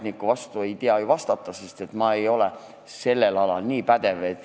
Ametniku vastu ei tea ju argumenteerida, sest et ma ei ole sellel alal nii pädev.